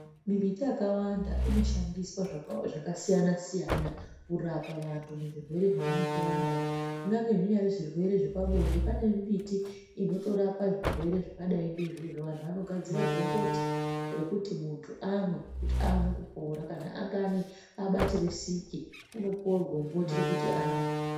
Mimbiti yakawanda inoshandiswa zvakasiyana siyana kurapa vantu muzvirwere zvavanenge vanazvo kunyangwe zvinyari zvirwere zvepabonde panemimbiti inotorapa zvirwere zvakadai neizvozvo vantu vanotogadzira gomboti rekuti muntu amwe kuti aone kupora kana abatire siki unopuwe gomboti rekuti amwe.